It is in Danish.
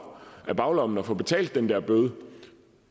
af baglommen og få betalt den der bøde